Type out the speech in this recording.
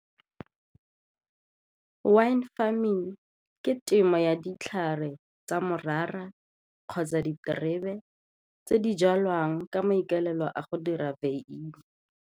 Wine farming ke temo ya ditlhare tsa morara kgotsa diterebe tse di jalwang ka maikaelelo a go dira beine.